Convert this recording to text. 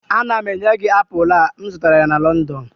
Ana m enye gị apụl a, m zụtara ya na London